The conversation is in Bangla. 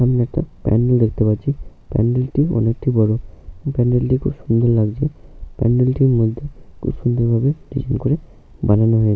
একটা প্যান্ডেল দেখতে পাচ্ছি। প্যান্ডেল টি অনেকটি বড়। এই প্যান্ডেল টি খুব সুন্দর লাগছে। প্যান্ডেল টির মধ্যে খুব সুন্দর ভাবে ডিজাইন করে বানানো হয়ে--